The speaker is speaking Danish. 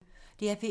DR P1